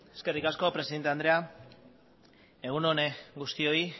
eskerrik asko presidente andrea egun on guztioi